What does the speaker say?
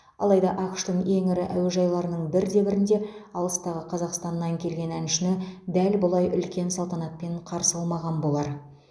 алайда ақш тың ең ірі әуежайларының бірде бірінде алыстағы қазақстаннан келген әншіні дәл бұлай үлкен салтанатпен қарсы алмаған болар